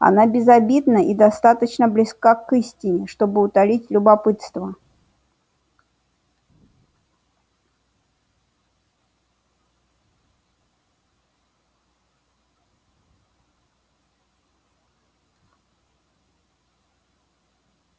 она безобидна и достаточно близка к истине чтобы утолить любопытство